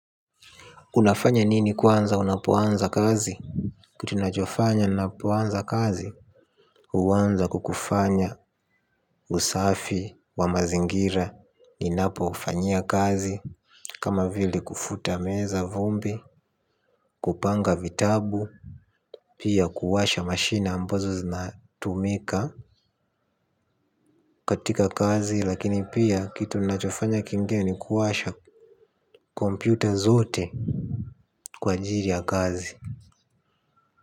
Unafanya nini kwanza unapoanza kazi kitu nachofanya ninapoanza kazi huanza kwa kufanya usafi wa mazingira ninapo fanyia kazi kama vile kufuta meza vumbi kupanga vitabu pia kuwasha mashine ambazo zinatumika katika kazi lakini pia kitu ninachofanya kingine ni kuwasha computer zote kwa ajili ya kazi.